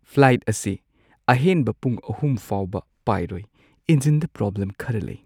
Flight ꯑꯁꯤ ꯑꯍꯦꯟꯕ ꯄꯨꯡ ꯳ ꯐꯥꯎꯕ ꯄꯥꯏꯔꯣꯏ꯫ ꯏꯟꯖꯤꯟꯗ ꯄ꯭ꯔꯣꯕ꯭ꯂꯦꯝ ꯈꯔ ꯂꯩ꯫